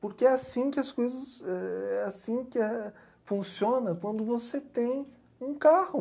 Porque é assim que as coisas, é assim que é, funciona quando você tem um carro.